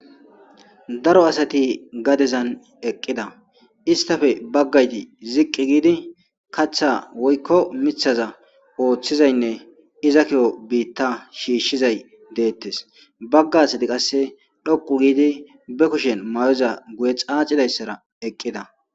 Daro asati gadezan eqqida istafe baggayti ziqqi giidi kaththa woykko miiththaza ooththizaynne iza kiyoo biitta shiishshizay deettes bagga assati qasse dhoqu giidi be kushen may'oza guye xaacidayssara eqqida